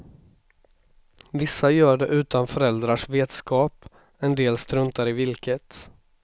Vissa gör det utan föräldrarnas vetskap, en del struntar i vilket.